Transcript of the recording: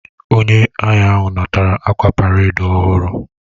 Onye agha ahu natara akwa paredi ohuru